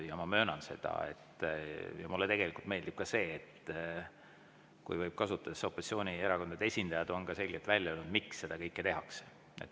Ja ma möönan seda, et mulle tegelikult meeldib ka see, kui võib kasutada, et opositsioonierakondade esindajad on selgelt välja öelnud, miks seda kõike tehakse.